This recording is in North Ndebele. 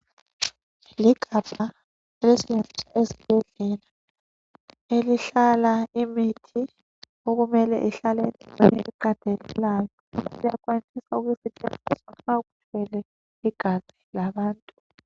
Ligabha elisetshenziswa esibhedlela. Elihlala imithi. Okumele lihlale endaweni eqandelelayo. Siyakwanisa ukuthi lisetshenziswe nxa kumelwe igazi labantu.